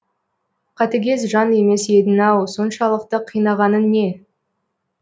қатыгез жан емес едің ау соншалықты қинағанын не